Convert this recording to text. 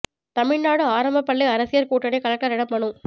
தமிழ்நாடு ஆரம்ப பள்ளி ஆசிரியர் கூட்டணி கலெக்டரிடம் மனு